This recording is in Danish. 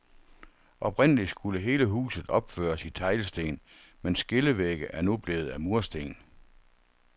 Oprindeligt skulle hele huset opføres i teglsten, men skillevægge er nu blevet af mursten.